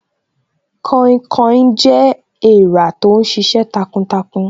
Kainkain jẹ́ èrà tó ń sisẹ takuntakun